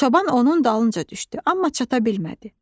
Çoban onun dalınca düşdü, amma çata bilmədi.